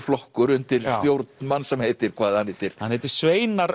flokkur undir stjórn manns sem heitir hvað hann heitir hann heitir sveinar